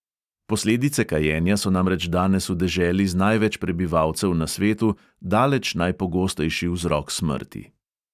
Posledice kajenja so namreč danes v deželi z največ prebivalcev na svetu daleč najpogostejši vzrok smrti.